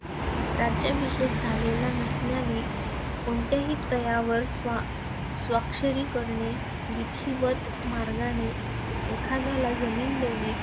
राज्याभिषेक झालेला नसल्याने कोणत्याही तहावर स्वा स्वाक्षरी करणे, विधीवत मार्गाने एखाद्याला जमीन देणे.